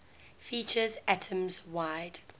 features atoms wide